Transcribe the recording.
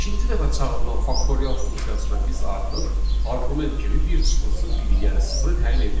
Beşinci dəfə çağırılan faktorial funksiyasında biz artıq arqument kimi 1 çıxılsın 1-i, yəni sıfırı təyin edirik.